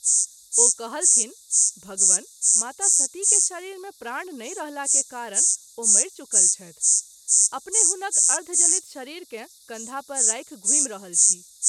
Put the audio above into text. ओ कहलथिन्ह भगवन ! माता सती के शरीर मे प्राण नहिं रहला के कारण ओ मरि चुकल छथि, अपने हुनक अर्धजलित शरीर के कँधा पर राखि घूमि रहल छी।